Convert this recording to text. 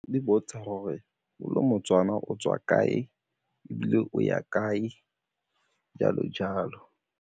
Le bontsha gore o le moTswana o tswa kae ebile o ya kae, jalo-jalo.